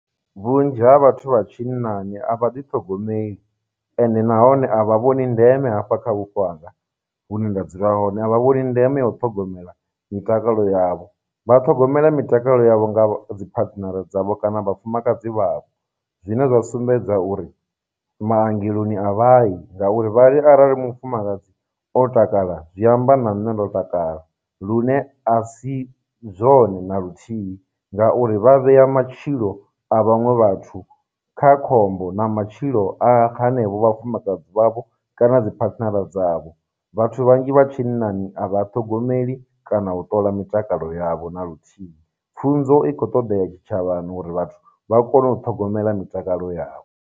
Vhunzhi ha vhathu vha tshinnani a vha ḓi ṱhogomeli, ende nahone a vha vhoni ndeme hafha kha vhupo hanga hune nda dzula hone, a vha vhoni ndeme ya u ṱhogomela mitakalo yavho, vha ṱhogomeliwa mitakalo yavho nga dzi phathinara dzavho kana vhafumakadzi vha vho, zwine zwa sumbedza uri maongeloni a vha yi ngauri, vha ri arali mufumakadzi o takala zwi amba na nṋe ndo takala, lune a si zwone naluthihi ngauri vha vhea matshilo a vhaṅwe vhathu kha khombo, na matshilo a hanevho vhafumakadzi vha vho kana dziphathinara dzavho, vhathu vhanzhi vha tshinnani a vha a ṱhogomeli kana u ṱola mitakalo yavho na luthihi. Pfhunzo i khou todea tshitshavhani uri vhathu vha kone u ṱhogomela mitakalo yavho.